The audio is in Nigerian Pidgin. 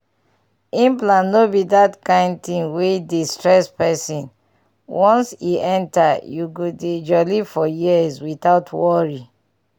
implant no be that kind thing wey dey stress person once e enter you go dey jolly for years without worry pause